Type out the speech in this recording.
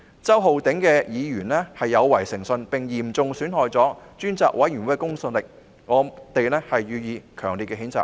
周浩鼎議員的行為有違誠信，並嚴重損害專責委員會的公信力，我們予以強烈譴責。